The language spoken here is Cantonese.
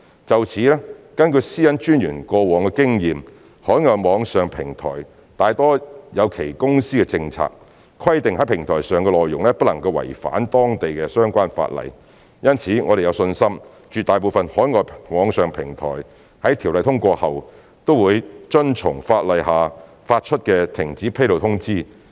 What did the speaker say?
就此，根據私隱專員過往的經驗，海外網上平台大多有其公司政策，規定在平台上的內容不能違反當地相關法例，因此我們有信心絕大部分海外網上平台在《條例草案》通過後，均會遵從法例下發出的停止披露通知。